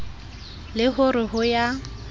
le ho re ho ya